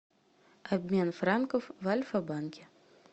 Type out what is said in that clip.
обмен франков в альфа банке